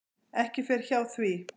Ekki fer hjá því.